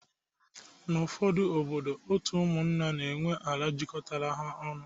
N'ufodu obodo, otu ụmụnna na enwe ala jikọrọ ha ọnụ